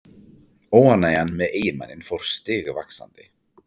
Óánægjan með eiginmanninn fór stigvaxandi.